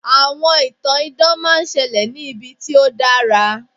àwọn ìtàn idán ma n ṣẹlẹ ní ibi tí o dara